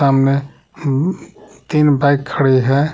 सामने तीन बाइक खड़ी है।